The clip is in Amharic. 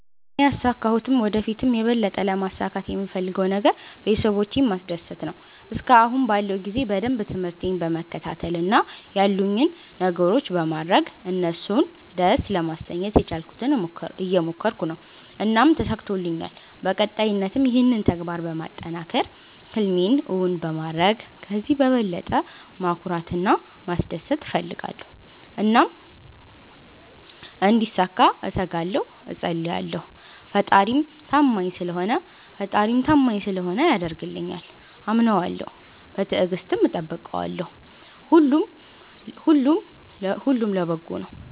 እኔ ያሣካሁትም ወደ ፊትም የበለጠ ለማሣካት የምፈለገው ነገር ቤተሠቦቼን ማስደሰት ነዎ። እስከአሁን ባለው ጊዜ በደንብ ትምርህቴን በመከታተል እና ያሉኝን ነገሮች በማድረግ እነሡን ደስ ለማሠኘት የቻልኩትን እየሞከረኩ ነው። እናም ተሣክቶልኛል በቀጣይነትም ይህንን ተግባር በማጠናከር ህልሜን እውን በማድረግ ከዚህ በበለጠ ማኩራት እና ማስደሰት እፈልጋለሁ። እናም እንዲሣካ እተጋለሁ እፀልያለሁ። ፈጣሪም ታማኝ ስለሆነ ያደርግልኛል። አምነዋለሁ በትግስትም እጠብቀዋለሁ። ሁሉም ለበጎ ነው።